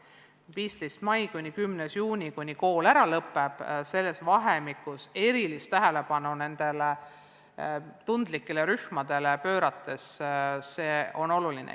Vahemikus 15. maist kuni 10. juunini, kui kool lõpeb, on oluline nendele tundlikele rühmadele erilist tähelepanu pöörata.